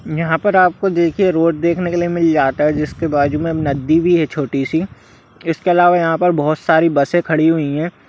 यहाँ पर आपको देखिए रोड देखने के लिए मिल जाता है जिसके बाजु में नदी भी है छोटी सी इसके अलवा यहाँ पर बहुत सारी बसे खड़ी हुई है।